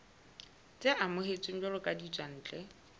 tse amohetsweng jwalo ka ditswantle